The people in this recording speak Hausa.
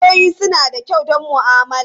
Wayoyi suna da kyau don ma'amala.